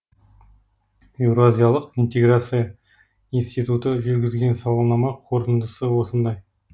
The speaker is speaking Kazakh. еуразиялық интеграция институты жүргізген сауалнама қорытындысы осындай